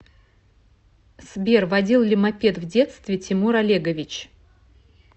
сбер водил ли мопед в детстве тимур олегович